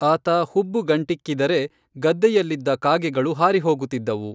ಆತ ಹುಬ್ಬುಗಂಟಿಕ್ಕಿದರೆ ಗದ್ದೆಯಲ್ಲಿದ್ದ ಕಾಗೆಗಳು ಹಾರಿ ಹೋಗುತ್ತಿದ್ದವು.